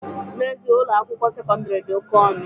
N'ezie, Ụlọ akwụkwọ sekọndrị dị oke ọnụ